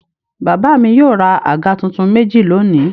Bàbá mi yóò ra àga tuntun méjì lónìí.